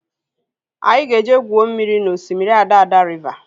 Anyị ga-eje gwuo mmiri na osimiri Adada riva